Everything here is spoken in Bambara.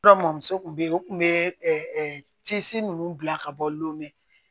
Dɔrɔmɔ muso kun be yen u kun be tisi nunnu bila ka bɔ lome